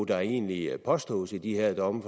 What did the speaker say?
der egentlig påstås i de her domme